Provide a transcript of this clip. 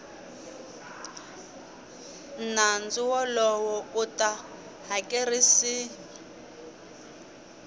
nandzu wolowo u ta hakerisiwa